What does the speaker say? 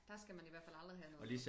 Der skal man i hvert fald aldrig have noget